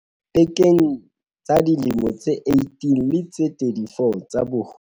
pekeng tsa dilemo tse 18 le tse 34 tsa boholo.